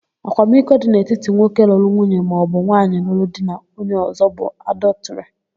Akwamiko dị n'etiti nwoke lụrụ nwunye maọbụ nwaanyị luru di na onye ọ̀zọ́ bụ adọtịrị.